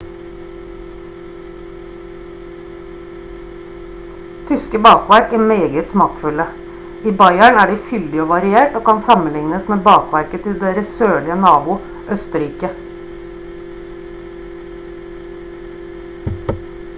tyske bakverk er meget smakfulle i bayern er de fyldig og variert og kan sammenlignes med bakverket til deres sørlige nabo østerrike